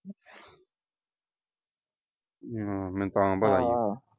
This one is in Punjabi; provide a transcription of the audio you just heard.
ਹਾਂ ਮੈਂ ਤਾਂ